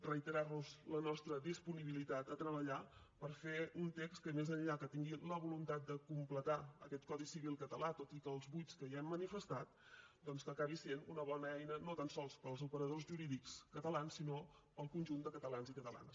reiterarlos la nostra disponibilitat a treballar per fer un text que més enllà que tingui la voluntat de completar aquest codi civil català tot i els buits que hi hem manifestat doncs que acabi sent una bona eina no tan sols per als operadors jurídics catalans sinó per al conjunt de catalans i catalanes